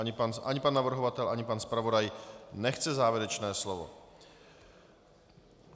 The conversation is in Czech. Ani pan navrhovatel ani pan zpravodaj nechce závěrečné slovo.